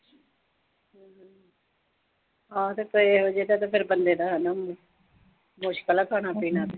ਹਾਂ ਤੇ ਜਦ ਪਏ ਹੋਈਏ ਫਿਰ ਤਾਂ ਆਣੇ ਈ ਆ।